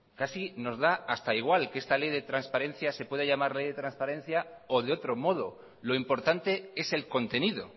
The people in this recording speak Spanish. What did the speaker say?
casi nos da hasta igual que esta ley de transparencia se pueda llamarle ley de trasparencia o de otro modo lo importante es el contenido